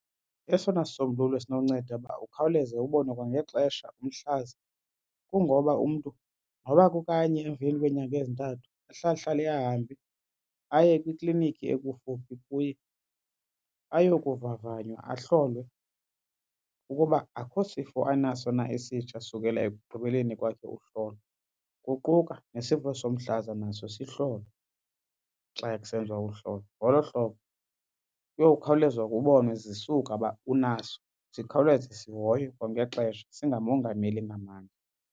Esona sisombululo esinonceda uba ukhawuleze ubone kwangexesha umhlaza kungoba umntu noba kukanye emveni kweenyanga ezintathu ahlale ahlale ahambe aye kwikliniki ekufuphi kuye ayokuvavanywa. Ahlolwe ukuba akukho sifo anaso na esitsha sukela ekugqibeleni kwakhe uhlolo, kuquka nesifo somhlaza naso sihlolwe xa kusenziwa uhlolo. Ngolo hlobo kuyokhawuleza kubonwe zisuka uba unaso sikhawuleze sihoywe kwangexesha singamongameli ngamandla.